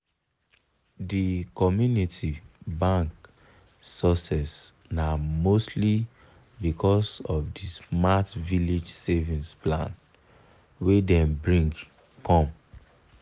the community bank success na mostly because of the smart village savings plan wey dem bring come.